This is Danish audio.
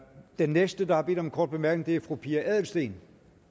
den næste der har bedt om en kort bemærkning er fru pia adelsteen